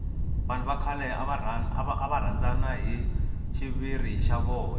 vanhu va khale ava rhandana hi xiviri xa vona